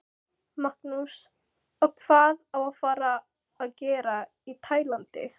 Magnús: Og hvað á að fara að gera í Tælandi?